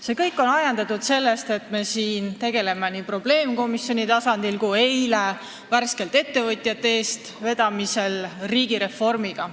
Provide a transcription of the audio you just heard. See kõik on ajendatud sellest, et me tegeleme siin probleemkomisjoni tasandil ja ka ettevõtjate eestvedamisel riigireformiga.